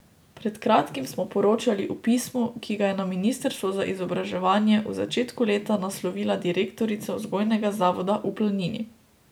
Pred kratkim smo poročali o pismu, ki ga je na Ministrstvo za izobraževanje v začetku leta naslovila direktorica Vzgojnega zavoda v Planini.